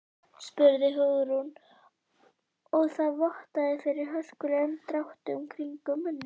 spurði Hugrún og það vottaði fyrir hörkulegum dráttum kringum munninn.